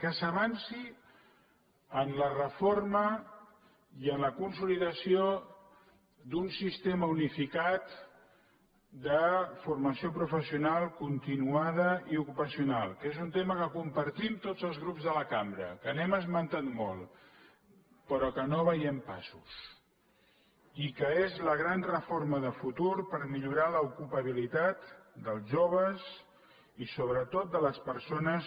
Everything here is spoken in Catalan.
que s’avanci en la reforma i en la consolidació d’un sistema unificat de formació pro·fessional continuada i ocupacional que és un tema que compartim tots els grups de la cambra que l’hem esmentat molt però que no en veiem passos i que és la gran reforma de futur per millorar l’ocupabilitat dels joves i sobretot de les persones